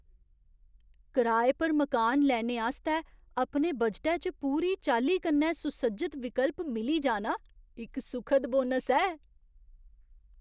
कराए पर मकान लैने आस्तै अपने बजटै च पूरी चाल्ली कन्नै सुसज्जत विकल्प मिली जाना इक सुखद बोनस ऐ।